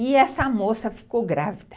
E essa moça ficou grávida.